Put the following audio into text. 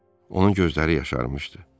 Onun gözləri yaşarmışdı.